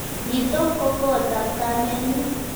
Nitok ko kot ap kamennyu.